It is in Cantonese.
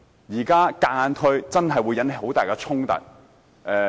現在強行推行，真的會引起很大的衝突。